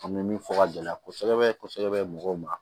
An bɛ min fɔ ka gɛlɛya kosɛbɛ kosɛbɛ mɔgɔw ma